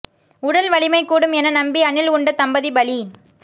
உடல் வலிமை கூடும் என நம்பி அணில் உண்ட தம்பதி பலி